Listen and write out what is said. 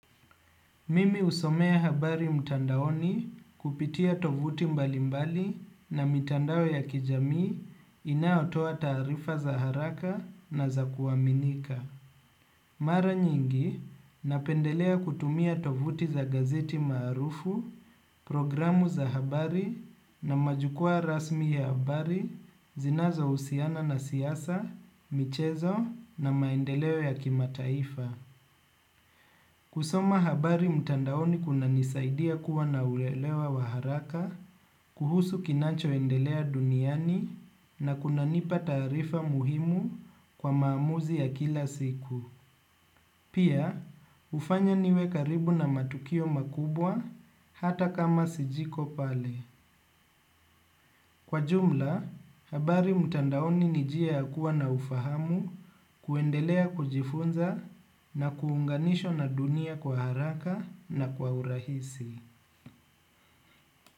Mimi husomea habari mtandaoni kupitia tovuti mbalimbali na mitandao ya kijamii inayotoa taarifa za haraka na za kuaminika mara nyingi napendelea kutumia tovuti za gazeti maarufu, programu za habari na majukwaa rasmi ya habari zinazohusiana na siasa, michezo na maendeleo ya kimataifa kusoma habari mtandaoni kunanisaidia kuwa na uelewa wa haraka kuhusu kinacho endelea duniani na kunanipa taarifa muhimu kwa maamuzi ya kila siku. Pia, hufanya niwe karibu na matukio makubwa hata kama siyuko pale. Kwa jumla, habari mtandaoni ni njia ya kuwa na ufahamu kuendelea kujifunza na kuunganishwa na dunia kwa haraka na kwa urahisi.